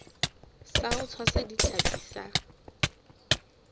sa ho tshwasa ditlhapi sa